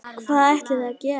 Hvað ætlið þið að gera?